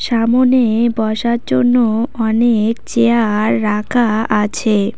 সামোনে বসার জন্য অনেক চেয়ার রাখা আছে।